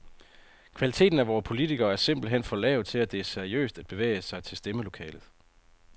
Kvaliteten af vore politikere er simpelt hen for lav til, at det er seriøst at bevæge sig til stemmelokalet.